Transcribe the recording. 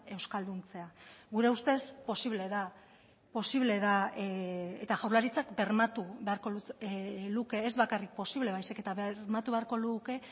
euskalduntzea gure ustez posible da posible da eta jaurlaritzak bermatu beharko luke ez bakarrik posible baizik eta bermatu beharko luke